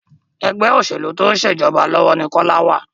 Ẹgbẹ́ òṣèlú tó ń ṣètò ìjọba ní Kola wá